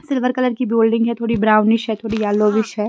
Silver colour की building है थोड़ी ब्राउनिश है थोड़ी येलो विश है।